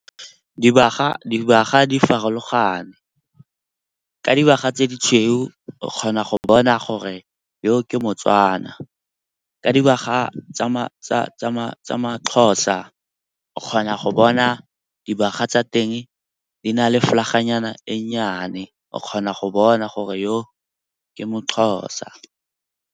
Dibaga di farologane ka dibaga tse di tshweu kgona go bona gore yo ke moTswana. Ka dibaga tsa maXhosa, o kgona go bona dibaga tsa teng di na le flag-a nyana e nnyane. O kgona go bona gore yo ke moXhosa.